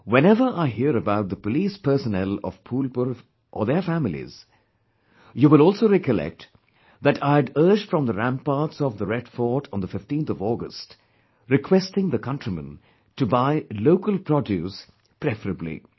Whenever I hear about the police personnel of Phulpur or their families, you will also recollect, that I had urged from the ramparts of Red Fort on the 15th of August, requesting the countrymen to buy local produce preferably